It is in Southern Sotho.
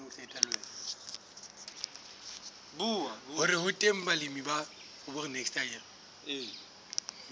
hore ho teng balemi ba